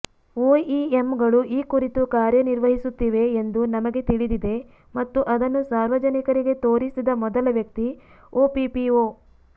ಒಇಎಂಗಳು ಈ ಕುರಿತು ಕಾರ್ಯನಿರ್ವಹಿಸುತ್ತಿವೆ ಎಂದು ನಮಗೆ ತಿಳಿದಿದೆ ಮತ್ತು ಅದನ್ನು ಸಾರ್ವಜನಿಕರಿಗೆ ತೋರಿಸಿದ ಮೊದಲ ವ್ಯಕ್ತಿ ಒಪಿಪಿಒ